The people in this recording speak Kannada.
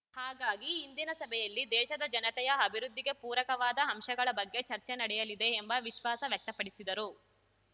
ಹಾಗಾಗಿ ಇಂದಿನ ಸಭೆಯಲ್ಲಿ ದೇಶದ ಜನತೆಯ ಅಭಿವೃದ್ಧಿಗೆ ಪೂರಕವಾದ ಅಂಶಗಳ ಬಗ್ಗೆ ಚರ್ಚೆ ನಡೆಯಲಿದೆ ಎಂಬ ವಿಶ್ವಾಸ ವ್ಯಕ್ತಪಡಿಸಿದರು